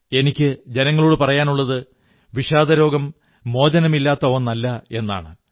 എനിക്കു ജനങ്ങളോടു പറയാനുള്ളത് വിഷാദരോഗം മോചനമില്ലാത്ത ഒന്നല്ല എന്നാണ്